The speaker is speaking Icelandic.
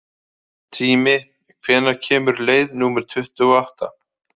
Tími, hvenær kemur leið númer tuttugu og átta?